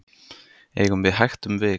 eigum við hægt um vik